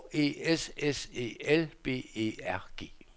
H E S S E L B E R G